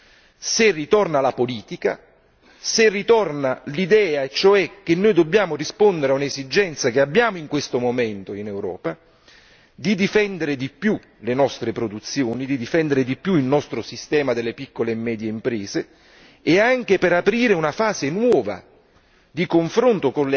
Questo è possibile se ritorna la politica, se ritorna l'idea cioè che noi dobbiamo rispondere a un'esigenza che abbiamo in questo momento in Europa di difendere di più le nostre produzioni, di difendere di più il nostro sistema delle piccole e medie imprese e anche per aprire una fase nuova